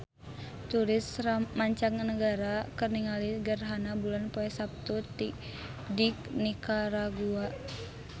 Turis mancanagara keur ningali gerhana bulan poe Saptu di Nikaragua